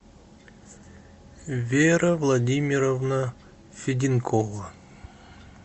вера владимировна феденкова